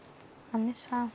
að missa